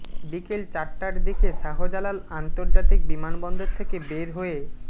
বিকেল চারটার দিকে শাহজালাল আন্তর্জাতিক বিমানবন্দর থেকে বের হয়ে